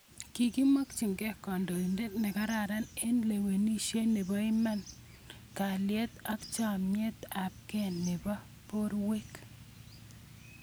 Kimokchinike kandoinotet ne kararan eng olekiweksei neboiman kalyet ak chemet ab ke nibo porwek